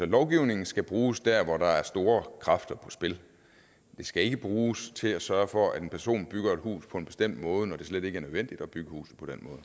lovgivningen skal bruges der hvor der er store kræfter på spil den skal ikke bruges til at sørge for at en person bygger et hus på en bestemt måde når det slet ikke er nødvendigt at bygge huse